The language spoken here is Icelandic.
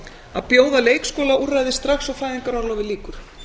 að bjóða leikskóla úrræði strax og fæðingarorlofi lýkur